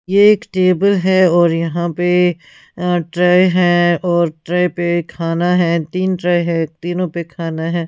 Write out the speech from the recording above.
यह एक टेबल है और यहां पे अ ट्राय है और ट्रे पे खाना है तीन ट्राय है तीनों पे खाना है --